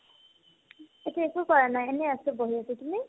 এতিয়া একো কৰা নাই এনে আছো বহি আছো তুমি ?